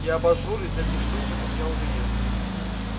и абажур из этих штучек у меня уже есть